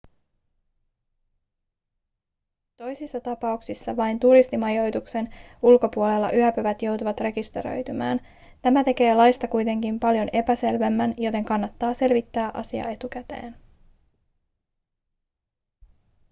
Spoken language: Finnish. toisissa tapauksissa vain turistimajoituksen ulkopuolella yöpyvät joutuvat rekisteröitymään tämä tekee laista kuitenkin paljon epäselvemmän joten kannattaa selvittää asia etukäteen